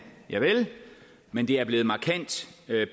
javel men det er blevet markant